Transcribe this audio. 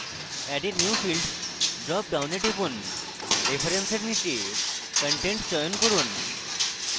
add a new field drop ডাউনে টিপুন reference এর নীচে content চয়ন করুন